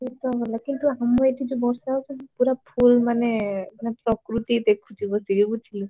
କେତେ ଭଲ କିନ୍ତୁ ଆମ ଏଠି ଯଉ ବର୍ଷା ହଉଛନ୍ତି full ମାନେ ମାନେ ପ୍ରକୃତି ଦେଖୁଛି ବସିକି ବୁଝିଲୁ।